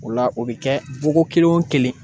O la o bɛ kɛ boko kelen o kelen.